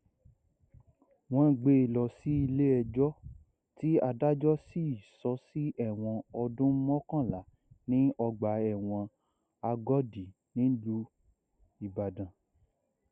wọn gbé lọ sílé ẹjọ tí adájọ sì sọ sí ẹwọn ọdún mọkànlá ní ọgbà ẹwọn agòdì nílù ìbàdàn